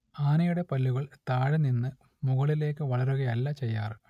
ആനയുടെ പല്ലുകൾ താഴെനിന്നു മുകളിലേക്ക് വളരുകയല്ല ചെയ്യാറ്